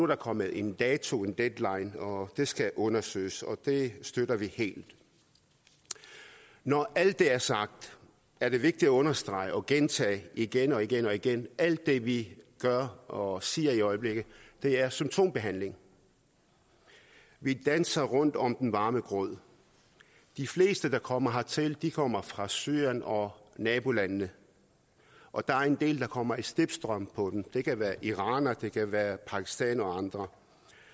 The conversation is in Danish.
der kommet en dato en deadline og det skal undersøges og det støtter vi helt når alt det er sagt er det vigtigt at understrege og gentage igen og igen og igen at alt det vi gør og siger i øjeblikket er symptombehandling vi danser rundt om den varme grød de fleste der kommer hertil kommer fra syrien og nabolandene og der er en del der kommer i slipstrømmen på dem det kan være iranere det kan være pakistanere og andre